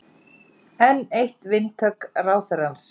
Enn eitt vindhögg ráðherrans